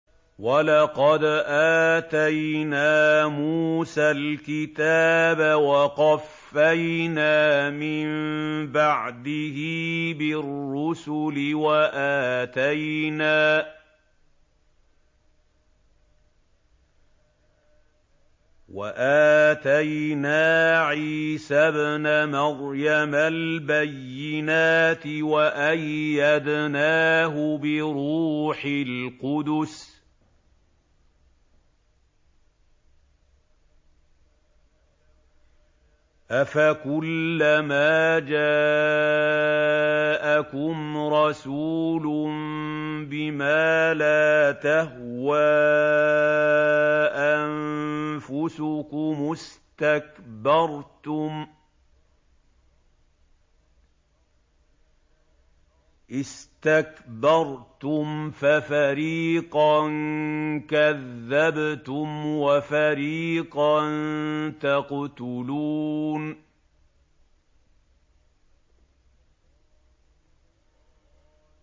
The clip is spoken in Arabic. وَلَقَدْ آتَيْنَا مُوسَى الْكِتَابَ وَقَفَّيْنَا مِن بَعْدِهِ بِالرُّسُلِ ۖ وَآتَيْنَا عِيسَى ابْنَ مَرْيَمَ الْبَيِّنَاتِ وَأَيَّدْنَاهُ بِرُوحِ الْقُدُسِ ۗ أَفَكُلَّمَا جَاءَكُمْ رَسُولٌ بِمَا لَا تَهْوَىٰ أَنفُسُكُمُ اسْتَكْبَرْتُمْ فَفَرِيقًا كَذَّبْتُمْ وَفَرِيقًا تَقْتُلُونَ